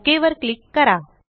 okay वर click करा